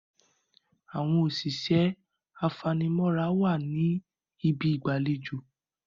Àwọn òṣìṣẹ́ afanimọ́ra wà ní ibi ìgbàlejò.